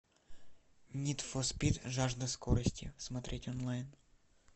нид фор спид жажда скорости смотреть онлайн